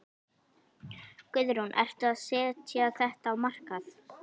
Guðrún: Ertu að setja þetta á markað?